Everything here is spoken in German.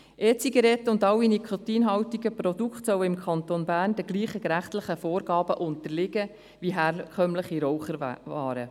E-Zigaretten und alle nikotinhaltigen Produkte sollen im Kanton Bern denselen rechtlichen Vorgaben unterliegen wie herkömmliche Raucherwaren.